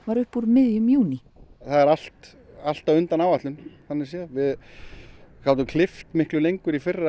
upp úr miðjum júní það er allt allt á undan áætlun við gátum klippt miklu lengur í fyrra